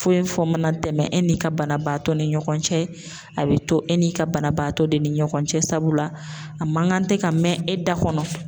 Foyi fɔ mana tɛmɛ e ni ka banabaatɔ ni ɲɔgɔn cɛ a bɛ to e n'i ka banabaatɔ de ni ɲɔgɔn cɛ sabula a ma ŋan tɛ ka mɛ e da kɔnɔ.